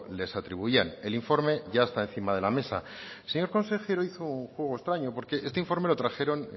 les atribuían el informe ya está encima de la mesa el señor consejero hizo un juego extraño porque este informe lo trajeron